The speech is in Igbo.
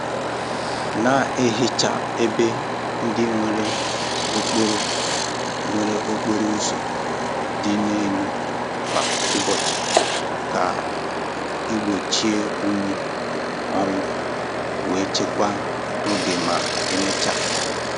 Na-ehicha ebe ndị nwere okporo nwere okporo ụzọ dị elu kwa ụbọchị ka igbochi unyi nwuo wee chekwaa oge ma emechaa.